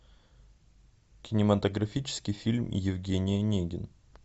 кинематографический фильм евгений онегин